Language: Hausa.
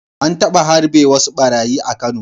An taba harbe wasu ɓarayi a Kano.